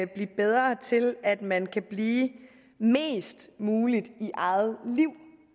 blive bedre til at at man kan blive mest muligt i eget liv